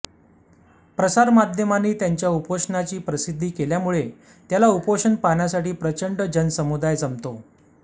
प्रसारमाध्यमांनी त्याच्या उपोषणाची प्रसिद्धी केल्यामुळे त्याला उपोषण पाहण्यासाठी प्रचंड जनसमुदाय जमतो